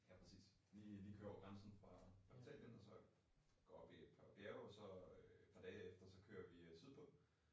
Ja præcis. Lige lige køre over grænsen fra fra Italien og så gå op i et par bjerge og så øh et par dage efter kører øh vi sydpå